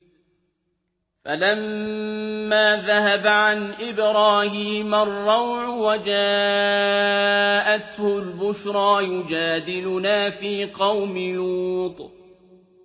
فَلَمَّا ذَهَبَ عَنْ إِبْرَاهِيمَ الرَّوْعُ وَجَاءَتْهُ الْبُشْرَىٰ يُجَادِلُنَا فِي قَوْمِ لُوطٍ